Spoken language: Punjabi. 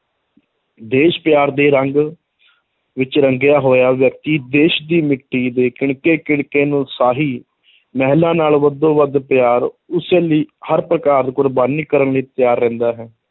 ਦੇਸ਼ ਪਿਆਰ ਦੇ ਰੰਗ ਵਿੱਚ ਰੰਗਿਆ ਹੋਇਆ ਵਿਅਕਤੀ ਦੇਸ਼ ਦੀ ਮਿੱਟੀ ਦੇ ਕਿਣਕੇ ਕਿਣਕੇ ਨੂੰ ਸ਼ਾਹੀ ਮਹਿਲਾਂ ਨਾਲੋਂ ਹੱਦੋਂ ਵੱਧ ਪਿਆਰ, ਉਸ ਲਈ ਹਰ ਪ੍ਰਕਾਰ ਕੁਰਬਾਨੀ ਕਰਨ ਲਈ ਤਿਆਰ ਰਹਿੰਦਾ ਹੈ,